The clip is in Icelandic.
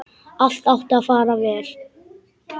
Allt átti að fara vel.